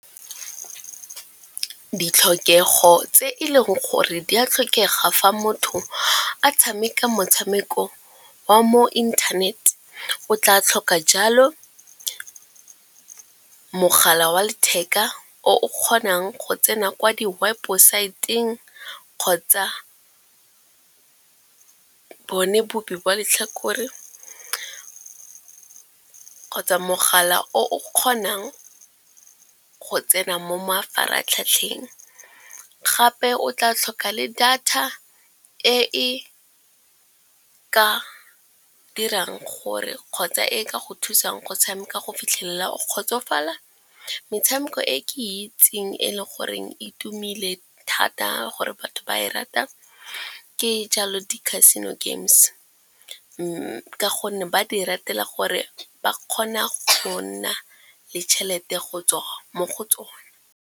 Ditlhokego tse e leng gore di a tlhokega fa motho a tshameka motshameko wa mo internet, o tla tlhoka jalo mogala wa letheka o o kgonang go tsena kwa di websaeteng kgotsa bone bobi ba letlhakore kgotsa mogala o o kgonang go tsena mo mafaratlhatlheng. Gape o tla tlhoka le data e e ka dirang gore kgotsa e ka go thusang go tshameka go fitlhelela o kgotsofala. Metshameko e ke itseng e le goreng e tumile thata gore ba e rata ke jalo di-casino games, mme ka gonne ba di ratela gore ba kgona go nna le tšhelete go tswa mo go tsone.